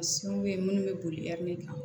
minnu bɛ boli kan